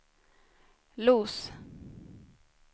Los